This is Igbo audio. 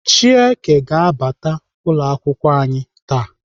Chieke ga-abata n'ụlọakwụkwọ anyị taa.